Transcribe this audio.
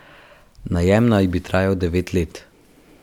Najem naj bi trajal devet let.